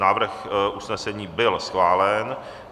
Návrh usnesení byl schválen.